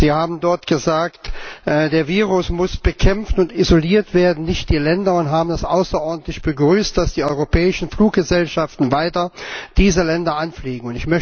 Sie haben dort gesagt Das Virus muss bekämpft und isoliert werden, nicht die Länder, und haben es außerordentlich begrüßt, dass die europäischen Fluggesellschaften weiter diese Länder anfliegen.